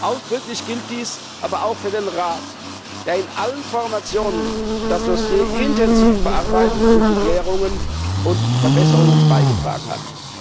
Ausdrücklich gilt dies aber auch für den Rat, der in allen Formationen das Dossier intensiv bearbeitet und zu Klärungen und Verbesserungen beigetragen hat.